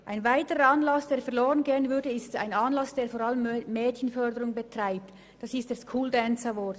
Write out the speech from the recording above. Es ginge auch ein Anlass verloren, der vor allem Mädchenförderung betreibt, nämlich der School Dance Award.